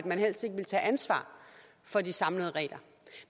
man helst ikke ville tage ansvar for de samlede regler